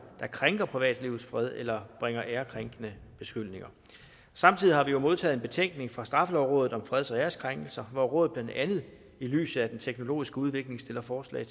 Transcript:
der krænker privatlivets fred eller bringer æreskrænkende beskyldninger samtidig har vi jo modtaget en betænkning fra straffelovrådet om freds og æreskrænkelser hvor rådet blandt andet i lyset af den teknologiske udvikling stiller forslag